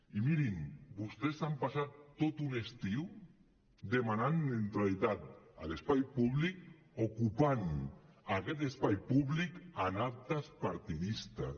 i mirin vostès s’han passat tot un estiu demanant neutralitat a l’espai públic ocupant aquest espai públic amb actes partidistes